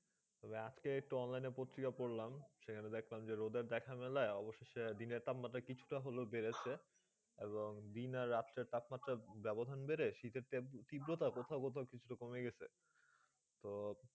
আজকে একটা অনলাইন প্রতিকা পড়লাম সেই দেখাচ্ছে রোদে দেখা মোলে দিনে তাপ মাথা হতো দিনে কিছু বেঁধেছে দিন আর রাত তপমান বেবধাণ বোধে সাইট তৃব্রতা একটু কমে গেছে তো